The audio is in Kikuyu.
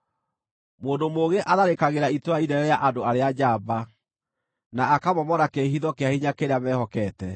Mũndũ mũũgĩ atharĩkagĩra itũũra inene rĩa andũ arĩa njamba, na akamomora kĩĩhitho kĩa hinya kĩrĩa mehokete.